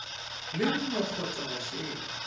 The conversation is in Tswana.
le nngwe kgotsa go feta